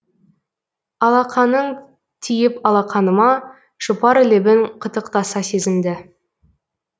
алақаның тиіп алақаныма жұпар лебің қытықтаса сезімді